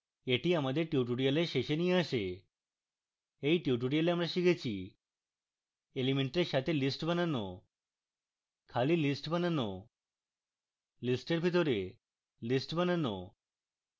এটি আমাদের tutorial শেষে নিয়ে আসে